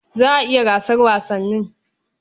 Za a yi gasar wasannin.